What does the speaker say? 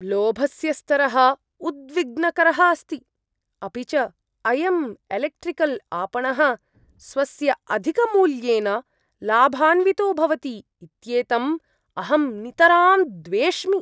लोभस्य स्तरः उद्विग्नकरः अस्ति, अपि च अयम् एलेक्ट्रिकल् आपणः स्वस्य अधिकमूल्येन लाभान्वितो भवति इत्येतम् अहं नितरां द्वेष्मि।